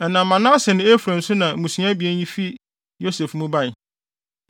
Ɛnam Manase ne Efraim so na mmusua abien fii Yosef mu bae.